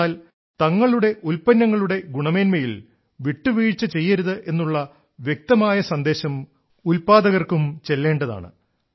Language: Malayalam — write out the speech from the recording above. എന്നാൽ തങ്ങളുടെ ഉല്പന്നങ്ങളുടെ ഗുണമേന്മയിൽ വിട്ടുവീഴ്ച ചെയ്യരുത് എന്നുള്ള വ്യക്തമായ സന്ദേശം ഉല്പാദകർക്കും ചെല്ലേണ്ടതാണ്